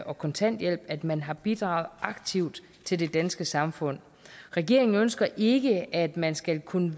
og kontanthjælp at man har bidraget aktivt til det danske samfund regeringen ønsker ikke at man skal kunne